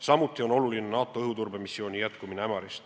Samuti on oluline NATO õhuturbe missiooni jätkumine Ämaris.